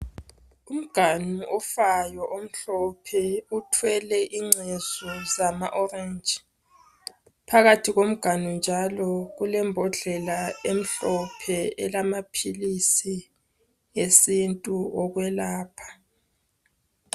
Umganu ofayo omhlophe uthwele incezu zama orange, phakathi komganu njalo kulembodlela emhlophe elamaphilisi esintu okwelapha.